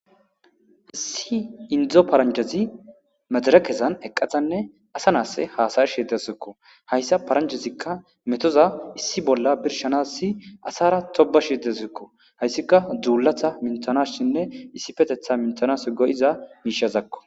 Issi Indo paranjaz medirekezan eqadanne asa nas hasa'ashe dawusko. Haysa paranjazika metoza issi bolla birshanas asara tobashe taziko. Haysika dulata minthanasinne issippetetha minthanas go'iza mishazako.